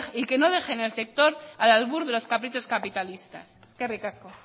que no deje en el sector al albur de los caprichos capitalistas eskerrik asko